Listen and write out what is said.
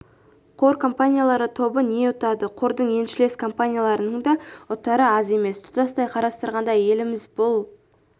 қор компаниялары тобы не ұтады қордың еншілес компанияларының да ұтары аз емес тұтастай қарастырғанда еліміз бұл